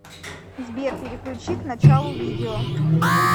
сбер переключи к началу видео